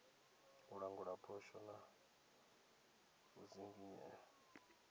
u langula phosho na u dzinginyea